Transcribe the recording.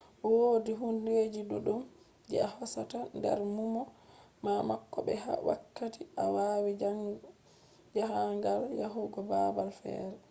wodi hundeji duddum je a hosata nder numo ma bako be wakkati a wadi jahangal yahugo babal fere